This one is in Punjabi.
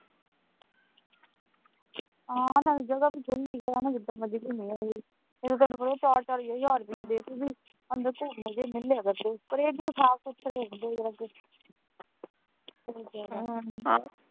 ਹਾਂ ਨਾਲੇ ਜਗ੍ਹਾ ਖੁੱਲੀ ਹੈ ਨਾ ਜਿੱਦਾਂ ਮਰਜੀ ਘੁੰਮੀਏ ਨਹੀਂ ਤੇ ਤੁਹਾਨੂੰ ਪਤਾ ਹੈ ਚਾਰ ਚਾਰ ਹਜਾਰ ਰੁਪਇਆ ਦੇ ਕੇ ਵੀ ਅੰਦਰ ਢੁੱਕਵੇਂ ਜਿਹੇ ਮਿਲੇ ਕਰਦੇ ਪਰ ਇਹ ਹੈ ਕਿ ਉਹ ਸਾਫ ਸੁਥਰੇ ਹੁੰਦੇ ਜਰਾ ਕ .